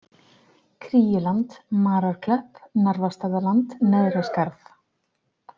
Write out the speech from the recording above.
Kríuland, Mararklöpp, Narfastaðaland, Neðra Skarð